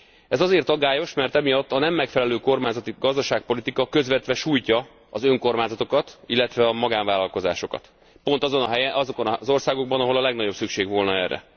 Ez azért aggályos, mert emiatt a nem megfelelő kormányzati gazdaságpolitika közvetve sújtja az önkormányzatokat, illetve a magánvállalkozásokat, pont azokban az országokban, ahol a legnagyobb szükség volna erre.